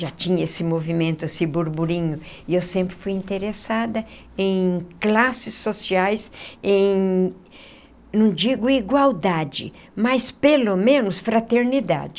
Já tinha esse movimento, esse burburinho, e eu sempre fui interessada em classes sociais, em, não digo igualdade, mas pelo menos fraternidade.